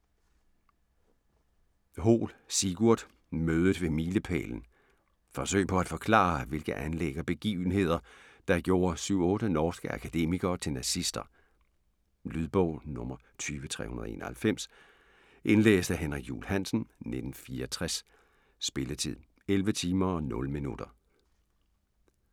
Hoel, Sigurd: Mødet ved milepælen Forsøg på at forklare, hvilke anlæg og begivenheder der gjorde 7-8 norske akademikere til nazister. Lydbog 20391 Indlæst af Henrik Juul Hansen, 1964. Spilletid: 11 timer, 0 minutter.